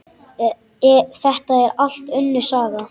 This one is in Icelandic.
Þetta er allt önnur saga!